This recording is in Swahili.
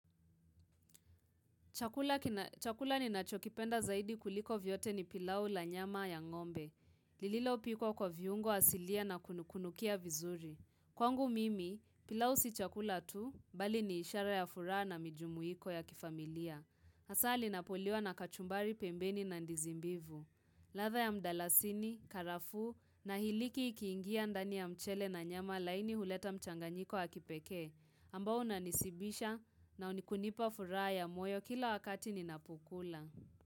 Chakula ni nachokipenda zaidi kuliko vyote ni pilau la nyama ya ngombe. Lililo piko kwa viungo asilia na kunukunukia vizuri. Kwangu mimi, pilau si chakula tu, bali ni ishara ya furaha na mijumuiko ya kifamilia. Hasaa linapoliwa na kachumbari pembeni na ndizimbivu. Latha ya mdalasini, karafu na hiliki ikiingia ndani ya mchele na nyama laini huleta mchanganyiko ya kipeke. Ambao unanishibisha na kunikunipa furaya moyo kila wakati ninapukula.